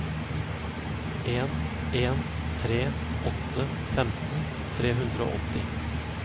en en tre åtte femten tre hundre og åtti